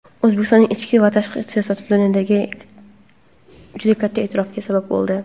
O‘zbekistonning ichki va tashqi siyosati dunyoda juda katta e’tirofga sabab bo‘ldi.